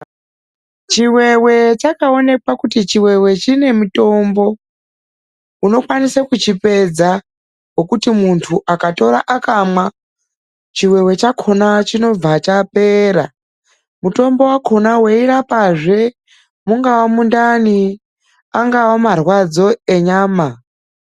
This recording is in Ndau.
Chiwewe chakaonekwa kuti chiwewe chinemutombo, unokwanise kuchipedza wekuti munhu akatora akamwa, chiwewe chakhona chinobva chapera. Mutombo wakhona weirapazve mungava mundani, angava marwadzo enyama.